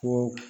Fɔ